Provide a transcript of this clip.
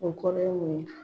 O kɔrɔ ye mun ye ?